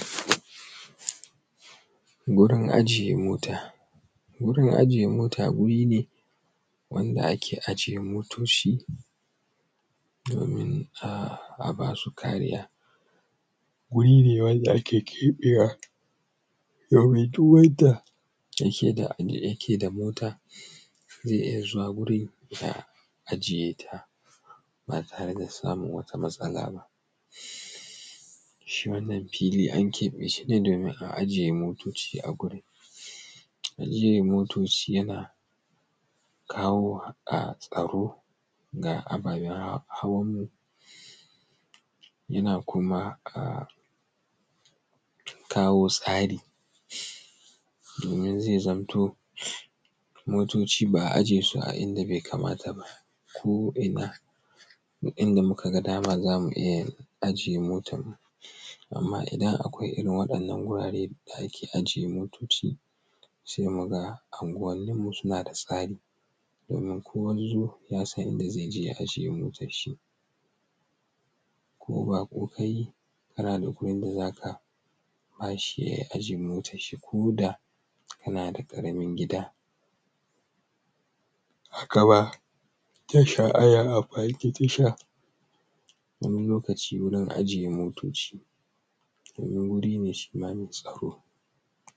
Wurin ajiye mota. Wurin ajiye mota wuri ne wanda ake ajiye motoci domin a ba su kariya. guri ne wanda ake keɓewa domin duk wanda yake da mota zai iya zuwa gurin ya ajiye ta ba tare da samun wata matsala ba shi wannan fili an keɓe shi ne domin a ajiye motocin a gurin. Ajiye motocin yana kawo tsaro ga ababan hawanmu, yana kuma kawo tsari domin zai zamto motoci ba a ajiye su a inda bai kamata ba, ko ina, duk inda muka ga dama za mu ajiye motar mu. Amma idan akwai irin wannan gurare da ake ajiye motoci sai mu ga anguwanin mu sana da tsari. Domin kowazzo ya san inda zai ajiye motar shi. Ko baƙo ka yi kana da wurin da za ka ba shi ya ajiye motar shi ko da kana da ƙaramin gida. Haka ma tasha ana amfani da tasha wani lokacin wurin ajiye motoci domin wuri ne shi ma mai tsaro.